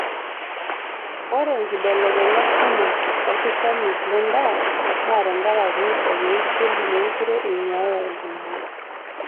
Ore nkibelekenyat kumok olkishamiet lendaa naa tenkaraki olng'usil meekure eing'uaya iltung'ana.